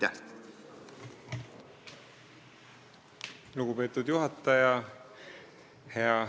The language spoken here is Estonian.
Lugupeetud juhataja!